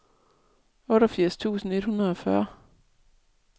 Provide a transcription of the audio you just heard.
otteogfirs tusind et hundrede og fyrre